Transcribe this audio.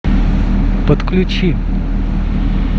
подключи